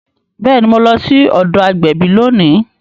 Bẹẹni, Mo lọ sí ọdọ agbẹbi lóni